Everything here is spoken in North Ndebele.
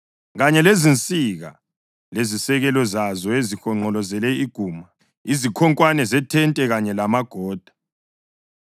kanye lezinsika lezisekelo zazo ezihonqolozele iguma, izikhonkwane zethente kanye lamagoda.